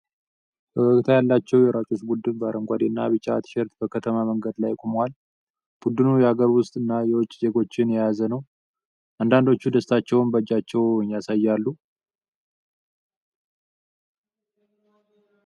ፈገግታ ያላቸው የሯጮች ቡድን በአረንጓዴና ቢጫ ቲሸርት በከተማ መንገድ ላይ ቆመዋል። ቡድኑ የአገር ውስጥ እና የውጭ ዜጎችን የያዘ ሲሆን፣ አንዳንዶቹ ደስታቸውን በእጃቸው ያሳያሉ።